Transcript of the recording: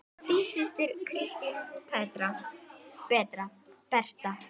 Þín systir, Kristín Berta.